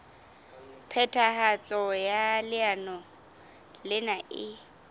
phethahatso ya leano lena e